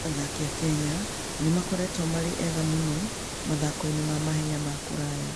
Athaki a Kenya nĩ makoretwo marĩ ega mũno mathako-inĩ ma mahenya ma kũraya.